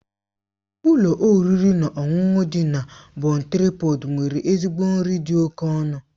Ụlọ oriri na ọṅụṅụ dị na Bon Traịpọd nwere ezigbo nri dị oke ọnụ.